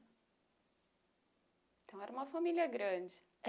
Então era uma família grande.